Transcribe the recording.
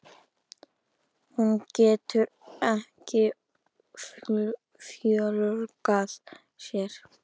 Hún getur ekki fjölgað sér.